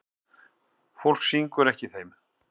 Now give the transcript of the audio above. Fólk syngur ekki í þeim.